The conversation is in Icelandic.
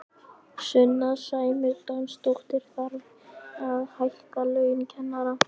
Sunna Sæmundsdóttir: Þarf að hækka laun kennara?